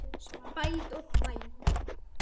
Spæld og þvæld.